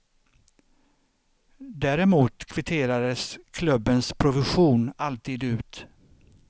Däremot kvitterades klubbens provision alltid ut.